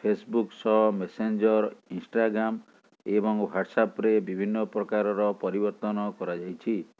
Facebook ସହ Messenger Instagram ଏବଂ ହ୍ବାଟ୍ସଆପ୍ରେ ବିଭନ୍ନ ପ୍ରକାରର ପରିବର୍ତ୍ତନ କରାଯାଇଛି